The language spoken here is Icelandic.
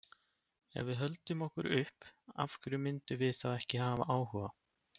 Ef við höldum okkur upp, af hverju myndum við þá ekki hafa áhuga?